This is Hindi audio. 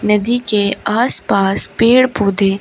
नदी के आसपास पेड़ पौधे--